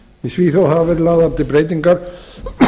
í svíþjóð hafa verið lagðar til breytingar